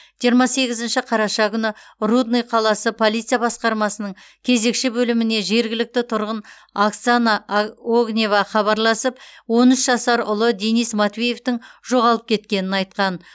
жиырма сегізінші қараша күні рудный қаласы полиция басқармасының кезекші бөліміне жергілікті тұрғын оксана огнева хабарласып он үш жасар ұлы денис матвеевтің жоғалып кеткенін айтқан